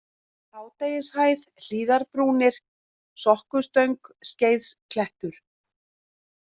Hádegishæð, Hlíðarbrúnir, Sokkustöng, Skeiðklettur